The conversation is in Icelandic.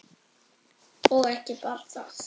Og ekki bara það